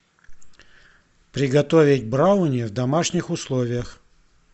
приготовить брауни в домашних условиях